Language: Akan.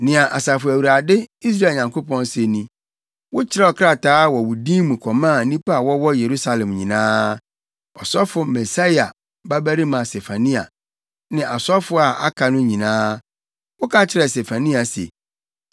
“Nea Asafo Awurade, Israel Nyankopɔn se ni: Wokyerɛw krataa wɔ wo din mu kɔmaa nnipa a wɔwɔ Yerusalem nyinaa, ɔsɔfo Maaseia babarima Sefania, ne asɔfo a aka no nyinaa. Woka kyerɛɛ Sefania se,